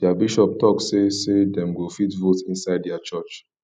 their bishop talk say say dem go fit vote inside their church